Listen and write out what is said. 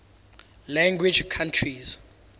language countries